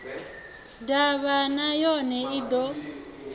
ḓavha na yone i ḓo